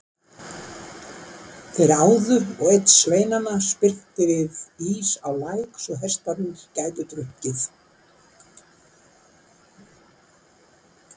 Þeir áðu og einn sveinanna spyrnti við ís á læk svo hestarnir gætu drukkið.